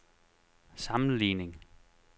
sammenligning